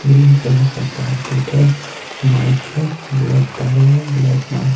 green colour का कारपेट है माइक है ब्लैक तारे हैं ब्लैक मार --